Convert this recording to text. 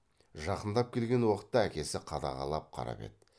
жақындап келген уақытта әкесі қадағалап қарап еді